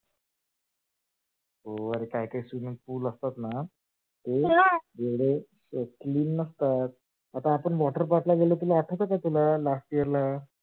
हो अरे काही काही swimming pool तर हो एवढे clear नसतात आपण water park ला गेलो तुला आठवते का? last year ला आठवते का तुला?